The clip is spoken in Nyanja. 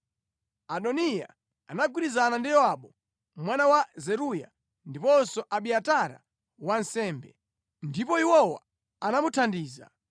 Adoniya anagwirizana ndi Yowabu mwana wa Zeruya ndiponso Abiatara wansembe, ndipo iwowa anamuthandiza.